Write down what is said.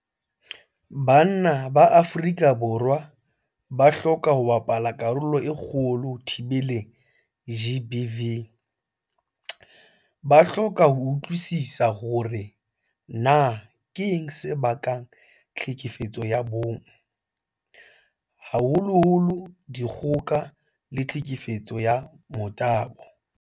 Banna ba Afrika Borwa ba hloka ho bapala karolo e kgolo ho thibeleng GBV. Ba hloka ho utlwisisa hore na keng se bakang tlhekefetso ya bong, haholoholo dikgoka ka tlhekefetso ya motabo.